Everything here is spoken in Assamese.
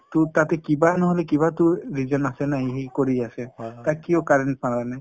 টো তাতে কিবা নহলে কিবা টো reason আছে ন সি কৰি আছে । তাক কিহৰ কাৰণে